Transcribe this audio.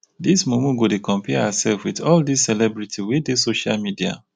dis mumu go dey compare hersef wit all dis celebrity wey dey social media.